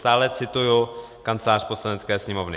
Stále cituji Kancelář Poslanecké sněmovny.